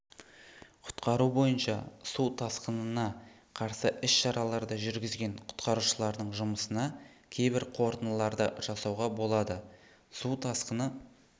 құтқару бойынша су тасқынына қарсы іс-шараларды жүргізген құтқарушылардың жұмысына кейбір қорытындыларды жасауға болады су тасқыны